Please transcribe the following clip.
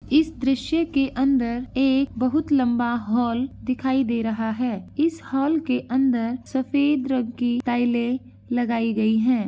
इस दृश्य के अंदर एक बहोत लंबा हॉल दिखाई दे रहा है इस हॉल के अंदर सफेद रंग की टाइलें लगाई गईं हैं।